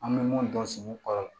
An bɛ mun dɔn sugu kɔrɔ la